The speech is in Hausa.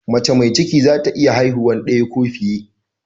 Mace mai ciki za ta iya haihuwa daya ko fiye